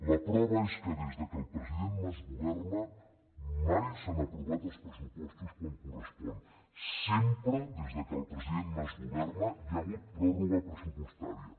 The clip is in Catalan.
la prova és que des que el president mas governa mai s’han aprovat els pressupostos quan correspon sempre des que el president mas governa hi ha hagut pròrroga pressupostària